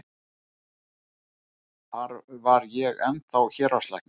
Þar var ég ennþá héraðslæknir.